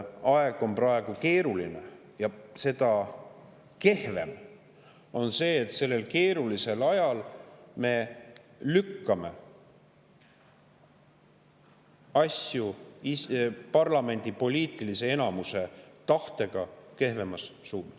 Aeg on praegu keeruline ja seda kehvem on see, et sellel keerulisel ajal me lükkame parlamendi poliitilise enamuse tahtega asju kehvemas suunas.